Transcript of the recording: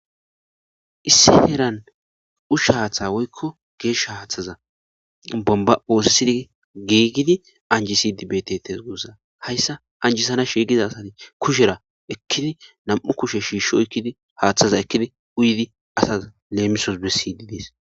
issi heran ushaatha woykko geesha haaththeza bomba oosisidii geeygidi anjisidi beetetes gussa hayssa anjisana shiigiza asati kushera ekkini nam7u kushe shiishsho ekkidi haaththaza ekidi uydi asas leemisos bessiydi dees